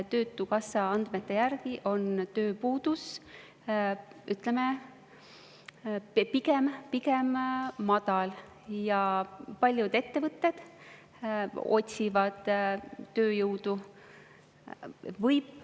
Töötukassa andmete järgi on tööpuudus pigem madal ja paljud ettevõtted otsivad tööjõudu.